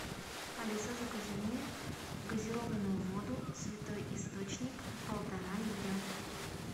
алиса закажи мне газированную воду святой источник полтора литра